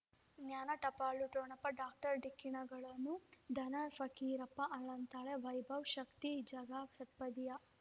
ಜ್ಞಾನ ಟಪಾಲು ಠೊಣಪ ಡಾಕ್ಟರ್ ಢಿಕ್ಕಿ ಣಗಳನು ಧನ ಫಕೀರಪ್ಪ ಅಳಂತಾನೆ ವೈಭವ್ ಶಕ್ತಿ ಝಗಾ ಷಟ್ಪದಿಯ